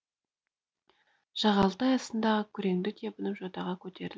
жағалтай астындағы күреңді тебініп жотаға көтерілді